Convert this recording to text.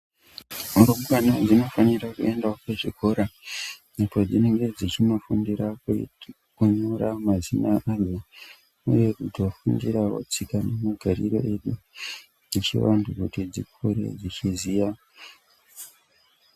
Rumbana dzinofanira kuendavo kuzvikora apo dzinenge dzichinofundira kuita kunyora mazina adzo, uye kutofundiravo tika nemagariro edu echivantu kuti dzikure dzichiziya.